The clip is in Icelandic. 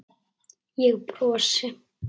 Ég brosi.